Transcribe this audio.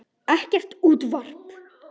Ekkert útvarp.